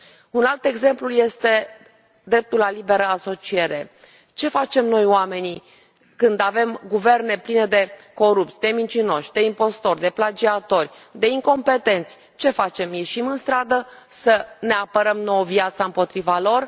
Un alt exemplu este dreptul la liberă asociere ce facem noi, oamenii, când avem guverne pline de corupți, de mincinoși, de impostori, de plagiatori, de incompetenți ce facem, ieșim în stradă să ne apărăm nouă viața împotriva lor?